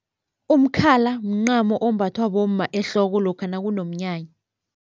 Umkhala mncamo ombathwa bomma ehloko lokha nakunomnyanya.